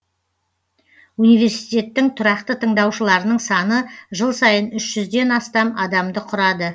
университеттің тұрақты тыңдаушыларының саны жыл сайын үш жүзден астам адамды құрады